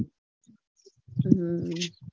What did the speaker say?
હમ